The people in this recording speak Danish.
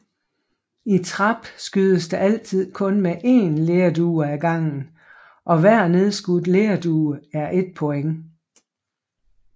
I trap skydes der altid kun mod én lerdue ad gangen og hver nedskudt lerdue er ét point